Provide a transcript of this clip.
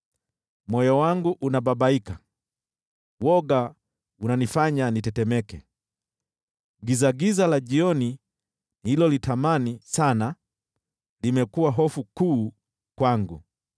Moyo wangu unababaika, woga unanifanya nitetemeke, gizagiza la jioni nililolitamani sana, limekuwa hofu kuu kwangu.